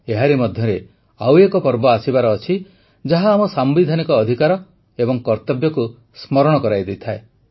ଏହାରି ମଧ୍ୟରେ ଆଉ ଏକ ପର୍ବ ଆସିବାର ଅଛି ଯାହା ଆମ ସାମ୍ବିଧାନିକ ଅଧିକାର ଓ କର୍ତବ୍ୟକୁ ସ୍ମରଣ କରାଇ ଦେଇଥାଏ